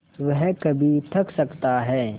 वह कभी थक सकता है